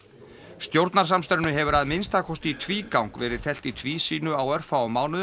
stjórnarsamstarfinu hefur að minnsta kosti í tvígang verið teflt í tvísýnu á örfáum mánuðum